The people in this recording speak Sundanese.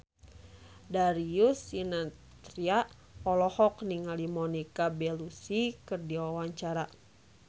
Darius Sinathrya olohok ningali Monica Belluci keur diwawancara